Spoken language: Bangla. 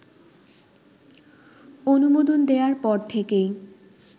অনুমোদন দেয়ার পর থেকেই